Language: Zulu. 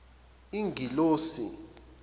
ingelosi